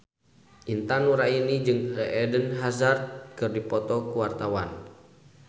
Intan Nuraini jeung Eden Hazard keur dipoto ku wartawan